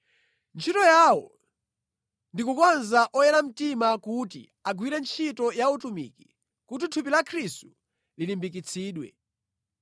Ntchito yawo ndi kukonza oyera mtima kuti agwire ntchito ya utumiki kuti thupi la Khristu lilimbikitsidwe.